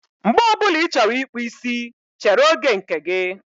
Mgbe ọ bụla ị chọrọ ịkpụ isi, chere oge nke gị.